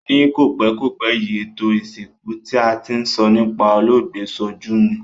Ni kòpékòpé yi, ètò ìsìnkú ti a ti n so nipa olóògbé sojú mi